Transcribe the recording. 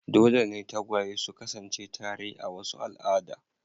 Dole ne tagwaye su kasance tare a wasu al'ada.